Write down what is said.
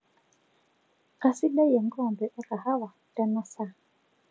kasidai enkoombe ekahawa teena saa